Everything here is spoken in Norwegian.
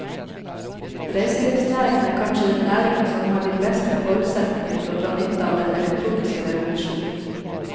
Reiselivsnæringen er kanskje den næringen som har de beste forutsetninger for å dra nytte av den elektroniske revolusjon.